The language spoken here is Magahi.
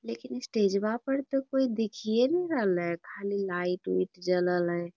लेकिन स्टेजवा पर कोई दिखीये न रहले खली लाइट उइट जलल है।